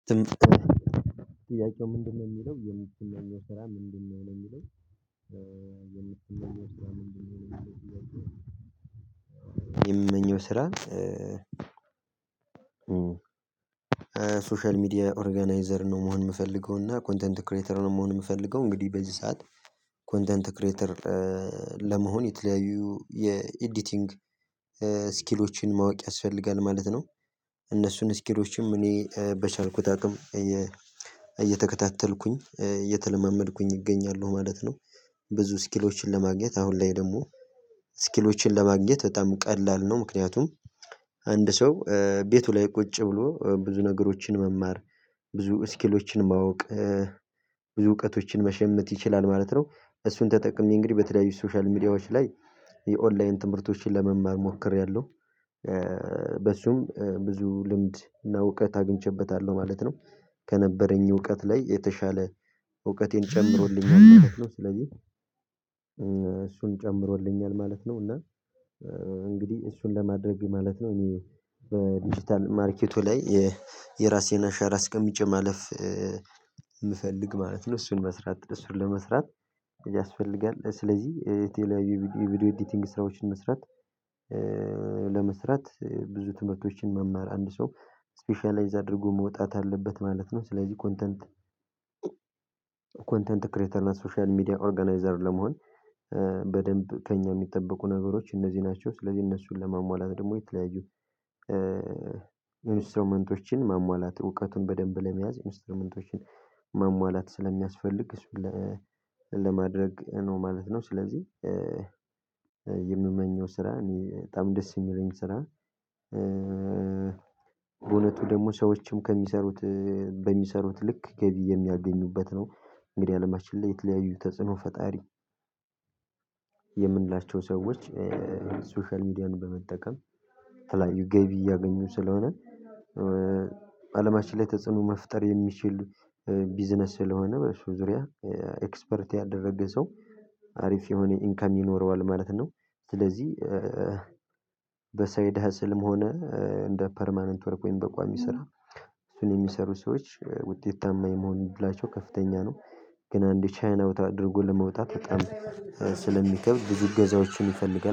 ትምህርት ትምህርት ምንድነው? የሚለው የሚል የሚለው ስራ ምንድነው? የሚለው የሚል የሚል ስራ የምንመኘው ስራ። ሶሻል ሚዲያ ኦርጋናይዘር ነው መሆን የምፈልገው እና ኮንተንት ክሬተር ነው መሆን የምፈልገው። እንግዲህ በዚህ ሰዓት ኮንተንት ክሬተር ለመሆን የተለያዩ የኤዲቲንግ ስኪሎችን ማወቅ ያስፈልጋል ማለት ነው። እነሱን ስኪሎችም እኔ በቻልኩት አቅም እየተከታተልኩኝ እየተለማመድኩኝ እገኛለሁ ማለት ነው። ብዙ ስኪሎችን ለማግኘት አሁን ላይ ደግሞ ስኪሎችን ለማግኘት በጣም ቀላል ነው። ምክንያቱም አንድ ሰው ቤቱ ላይ ቁጭ ብሎ ብዙ ነገሮችን መማር ብዙ ስኪሎችን ማወቅ ብዙ እውቀቶችን መሸምት ይችላል ማለት ነው። እሱን ተጠቅሜ እንግዲህ በተለያዩ ሶሻል ሚዲያዎች ላይ የኦንላይን ትምህርቶችን ለመማር ሞክሬያለሁ። በሱም ብዙ ልምድ እና እውቀት አግኝቼበታለሁ ማለት ነው። ከነበረኝ እውቀት ላይ የተሻለ እውቀቴን ጨምሮልኛል። እሱን ጨምሮልኛል ማለት ነው። እና እንግዲህ እሱን ለማድረግ ማለት ነው እኔ በዲጂታል ማርኬቱ ላይ የራሴን አሻራ አስቀምጬ ማለፍ የምፈልግ ማለት ነው። እሱን መስራት እሱን ለመስራት ያስፈልጋል ስለዚህ የቴሌ ቪዲዮ ኤዲቲንግ ስራዎችን መስራት። ለመስራት ብዙ ትምህርቶችን መማር አንድ ሰው ስፔሻላይዝ አድርጎ መውጣት አለበት ማለት ነው። ስለዚህ ኮንተንት ኮንተንት ክሬተር እና ሶሻል ሚዲያ ኦርጋናይዘር ለመሆን በደንብ ከእኛ የሚጠበቁ ነገሮች እነዚህ ናቸው። ስለዚህ እነሱን ለማሟላት ደግሞ የተለያዩ ኢንስትራንመንቶችን ማሟላት እውቀቱን በደንብ ለመያዝ ኢንስትሮመንቶችን ማሟላት ስለሚያስፈልግ ለማድረግ ነው ማለት ነው። ስለዚህ የምመኘው ስራ እኔ በጣም ደስ የሚለኝ ስራ። በእውነቱ ደግሞ ሰዎችም ከሚሰሩት በሚሰሩት ልክ ገቢ የሚያገኙበት ነው። እንግዲህ አለማችን ላይ የተለያዩ ተጽዕኖ ፈጣሪ የምንላቸው ሰዎች ሶሻል ሚዲያን በመጠቀም የተለያዩ ገቢ እያገኙ ስለሆነ። አለማችን ላይ ተጽዕኖ መፍጠር የሚችል ቢዝነስ ስለሆነ በሱ ዙሪያ ኤክስፐርት ያደረገ ሰው አሪፍ የሆነ ኢንከም ይኖረዋል ማለት ነው። ስለዚህ በሰይድ ህዝልም ሆነ እንደ ፐርማነንት ወርቅ ወይም በቋሚ ስራ እሱን የሚሰሩ ሰዎች ውጤት ታማኝ መሆን ይችላል ከፍተኛ ነው። ግን አንድ ቻይና ወጣት አድርጎ ለመውጣት በጣም ስለሚከብዝ እገዛዎችን ይፈልጋል